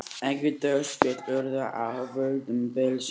Engin dauðsföll urðu af völdum bylsins